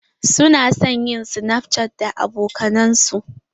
Su na son yin snapchatting da abokanan su.